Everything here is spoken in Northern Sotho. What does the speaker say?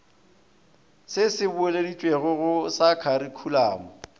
se se boeleditšwego sa kharikhulamo